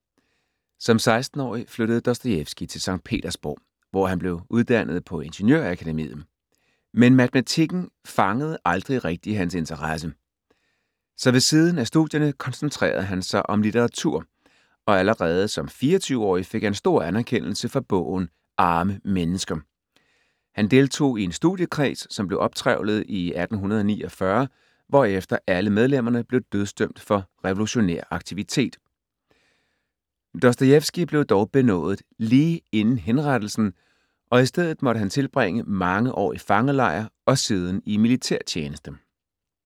Som 16-årig flyttede Dostojevskij til Skt. Petersborg, hvor han blev uddannet på ingeniørakademiet. Men matematikken fangede aldrig rigtig hans interesse. Så ved siden af studierne koncentrerede han sig om litteratur, og allerede som 24-årig fik han stor anerkendelse for bogen Arme mennesker. Han deltog i en studiekreds, som blev optrevlet i 1849, hvorefter alle medlemmerne blev dødsdømt for revolutionær aktivitet. Dostojevskij blev dog benådet lige inden henrettelsen, og i stedet måtte han tilbringe mange år i fangelejr og siden i militærtjeneste.